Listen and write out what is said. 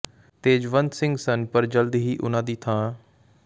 ਤੇਜਵੰਤ ਸਿੰਘ ਸਨ ਪਰ ਜਲਦ ਹੀ ਉਨ੍ਹਾਂ ਦੀ ਥਾਂ ਡਾ